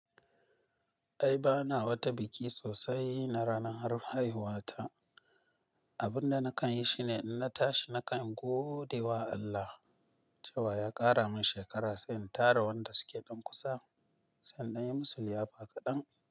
Ai bana wata biki sosai na ranar haihuwata. Abin da na kanyi shine inna tashi na kan godewa Allah cewa yaƙara min shekara sai intara wanda suke dan kusa sai in danyi musu liyafa kaɗan.